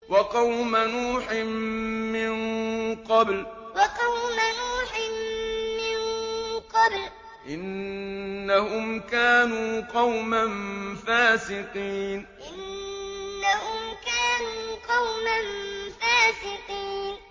وَقَوْمَ نُوحٍ مِّن قَبْلُ ۖ إِنَّهُمْ كَانُوا قَوْمًا فَاسِقِينَ وَقَوْمَ نُوحٍ مِّن قَبْلُ ۖ إِنَّهُمْ كَانُوا قَوْمًا فَاسِقِينَ